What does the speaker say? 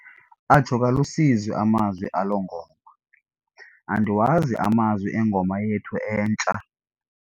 Atsho kalusizi amazwi alo mculo. andiwazi amazwi engoma yethu entsha